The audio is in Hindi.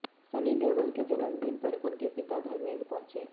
सनी देओल के जन्मदिन पर उनके पिता धर्मेंद्र पहुंचे